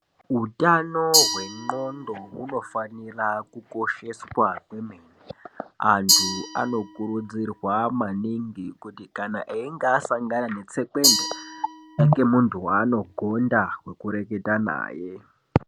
Hutano hwendxondo hunofanira kukosheswa kwemene. Antu anokurudzirwa maningi kuti kana einga asangana netsekwende ave nemuntu vaanogonda vekureketa naye.